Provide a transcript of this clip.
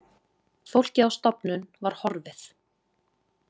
Fólkið á stofnun var horfið.